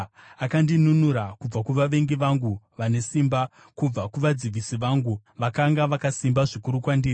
Akandinunura kubva kuvavengi vangu vane simba, kubva kuvadzivisi vangu, vakanga vakasimba zvikuru kwandiri.